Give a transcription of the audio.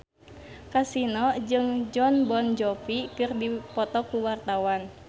Kasino jeung Jon Bon Jovi keur dipoto ku wartawan